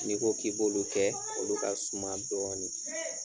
Ni ko k'i b'olu kɛ, olu ka suma dɔɔni.